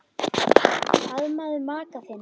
Faðmaðu maka þinn.